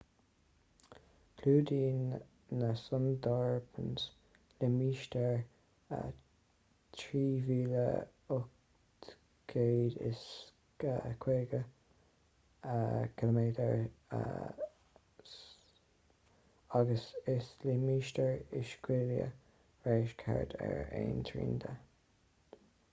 clúdaíonn na sundarbans limistéar 3,850 km² agus is limistéir uisciúla/réisc thart ar aon trian de